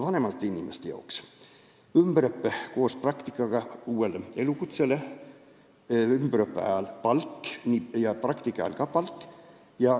Vanematel inimestel oleks vaja ümberõpet koos praktikaga, et omandada uus elukutse, ning ümberõppe ja ka praktika ajal peaks saama palka.